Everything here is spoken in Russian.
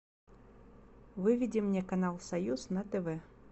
выведи мне канал союз на тв